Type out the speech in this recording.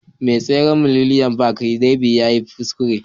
Mai tseren Millennium Park Darby yayi kuskure